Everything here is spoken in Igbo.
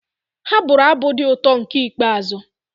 Ha bụru abụ dị ụtọ nke ikpeazụ